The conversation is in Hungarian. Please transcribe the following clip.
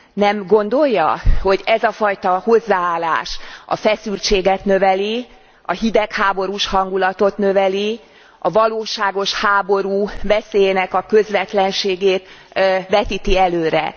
Nem gondolja, hogy ez a fajta hozzáállás a feszültséget növeli, a hidegháborús hangulatot növeli, a valóságos háború veszélyének a közvetlenségét vetíti előre?